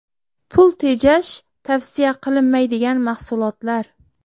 Pul tejash tavsiya qilinmaydigan mahsulotlar.